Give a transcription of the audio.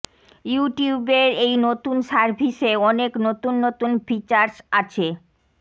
YouTube এর এই নতুন সার্ভিসে অনেক নতুন নতুন ফিচার্স আছে